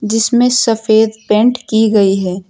इसमें सफ़ेद पेंट की गई है।